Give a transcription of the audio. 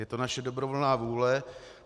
Je to naše dobrovolná vůle.